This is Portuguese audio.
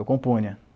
Eu compunha.